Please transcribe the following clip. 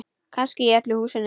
Kannski í öllu húsinu.